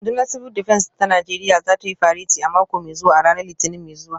Rundunar Civil Defence ta Najeriya za ta yi fareti a mako mai zuwa a ranar Litinin mai zuwa